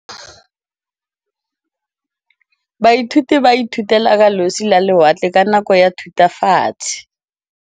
Baithuti ba ithutile ka losi lwa lewatle ka nako ya Thutafatshe.